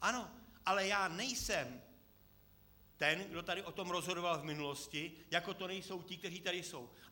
Ano, ale já nejsem ten, kdo tady o tom rozhodoval v minulosti, jako to nejsou ti, kteří tady jsou.